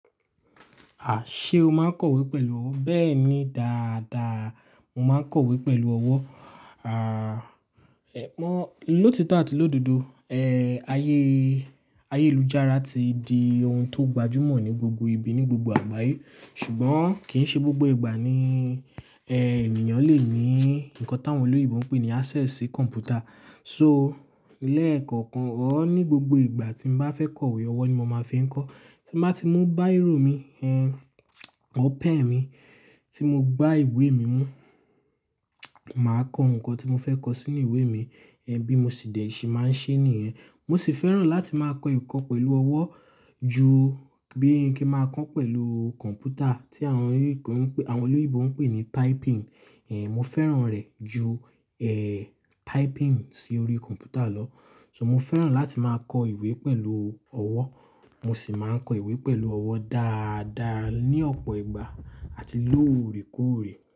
Àh! Ṣé o máa ń kọ̀wé pẹ̀lú ọwọ́. Bẹ́ẹ̀ni dáadáa, mo máa ń kọ̀wé pẹ̀lú ọwọ́. À, ẹ̀ mọ́-- lótitó àti l'ódodo, ẹ́ ayé, ayé lú jára ti di ohun tó gbajúmọ̀ ní gbogbo ibi ní gbogbo àgbáyé. Ṣùgbọ́n kì í ṣe gbogbo ìgbà ni, ẹ́ ènìyàn lè ní nǹkan táwọn olóyinbo ń pè ní access sí kọ̀m̀pútà. So lẹ́ẹ̀kọ̀kan ọ̀ọ́ ní gbogbo ìgbà tí mo bá fẹ́ kọ̀wé, ọwọ́ ni mo máa fi ń kọ. Tí mo bá ti mú báírò mi, ẹ́ ọ̀ọ́ pẹ́n mi tí mo gba ìwé mi mú, màá kọ nǹkan tí mo fẹ́ kọ sínú ìwé mi. Ẹ̀ bí mo sì dẹ̀ se máa ń ṣe nìyẹn. Mo sì fẹ́ràn láti máa kọ ǹkan pẹ̀lú ọwọ́ ju bí i kí n máa kọ́ ọ̀ pẹ̀lú kọ̀m̀pútà tí àwọn olóyìnbo ń pè ní typing. Ẹ̀ mo fẹ́ràn rẹ̀ ju, ẹ́ typing sí orí kọ̀m̀pútà lọ. So mo fẹ́ràn láti máa kọ ìwé pẹ̀lú ọwọ́. Mo sì máa ń kọ ìwé pẹ̀lú ọwọ́ dáadáa ní ọ̀pọ̀ ìgbà àti lóòrèkóòrè.